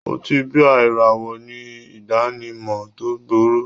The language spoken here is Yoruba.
Ọtí bíà ìràwọ̀ ní ìdánimọ̀ tó gbòòrò